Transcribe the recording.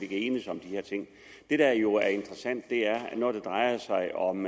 kan enes om de her ting det der jo er interessant er at når det drejer sig om